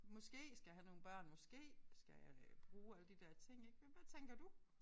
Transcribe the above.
Måske skal have nogle børn måske skal bruge alle de der ting ik men hvad tænker du?